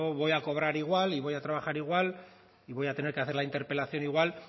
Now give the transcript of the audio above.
voy a cobrar igual y voy a trabajar igual y voy a tener que hacer la interpelación igual